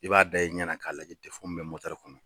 I b'a da i ɲɛna k'a lajɛ mun bɛ kɔnɔ.